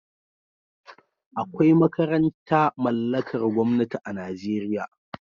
Akwai makaranta mallakar gwamnati a Najeriya